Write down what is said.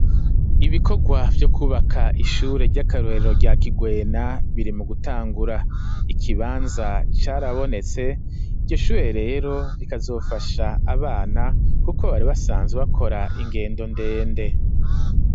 Ibikogwa vyo kubaka ishure ry'akarorero rya kigwena biri mu gutangura, ikibanza carabonetse, iryo shure rero rikazofasha abana kuko bari basanze bakora ingendo ndende.